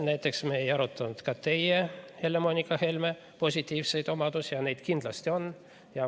Näiteks ei arutanud me ka teie, Helle-Moonika Helme positiivseid omadusi, ja neid kindlasti on.